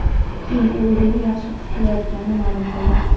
Keyin u o‘zini yaxshi his qilayotganini ma’lum qildi.